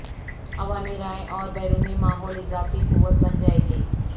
عوامی رائے اور بیرونی ماحول اضافی قوت بن جائے گی